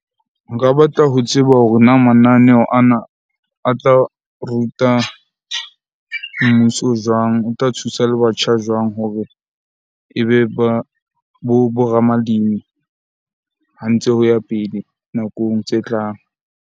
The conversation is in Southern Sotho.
Nka batla ho tseba hore na mananeho ana a tla ruta mmuso jwang? O tla thusa le batjha jwang hore ebe ba, bo ramalimi ha ntse ho ya pele nakong tse tlang?